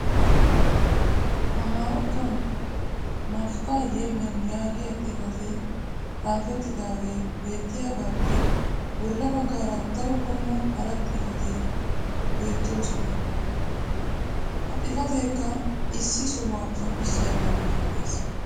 amaarattuwan "nafixxaa yelem" yaagiya xifatee xaafettidaage beettiyaagaappe bola bagaara daro qommo hara xaafotti beettoosona. ha xifateekka issi sohuwaa qonccissiyaaba malatees.